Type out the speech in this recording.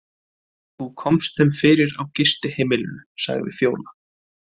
Þú komst þeim fyrir á gistiheimilinu, sagði Fjóla.